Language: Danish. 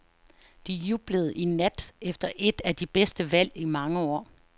De jublede i nat efter et af de bedste valg i mange år.